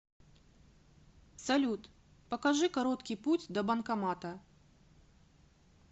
салют покажи короткий путь до банкомата